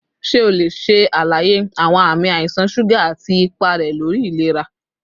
Ṣe o le ṣe alaye awọn ami aisan suga ati ipa rẹ lori ilera?